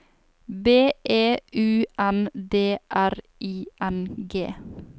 B E U N D R I N G